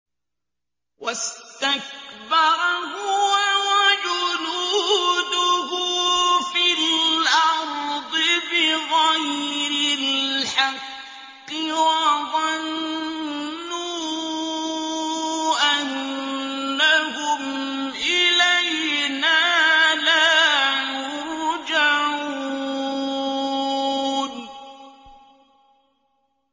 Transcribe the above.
وَاسْتَكْبَرَ هُوَ وَجُنُودُهُ فِي الْأَرْضِ بِغَيْرِ الْحَقِّ وَظَنُّوا أَنَّهُمْ إِلَيْنَا لَا يُرْجَعُونَ